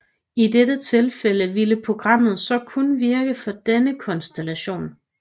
I dette tilfælde vil programmet så kun virke for denne konstellation